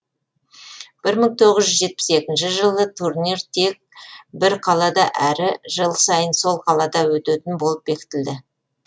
бір мың тоғыз жүз жетпіс екінші жылы турнир тек бір қалада әрі жыл сайын сол қалада өтетін болып бекітілді